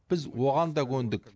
біз оған да көндік